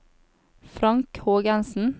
Frank Hågensen